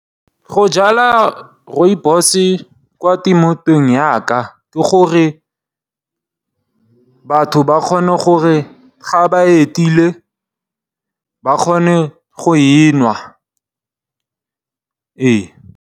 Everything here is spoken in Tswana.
Go jala Rooibos kwa temothuong yaka ke gore batho ba kgone gore ga ba etile ba kgone go e nwa ee.